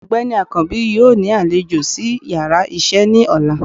Ọgbeni akańbi yóò ni aléjọ̀ si íyarà iṣẹ ni òlá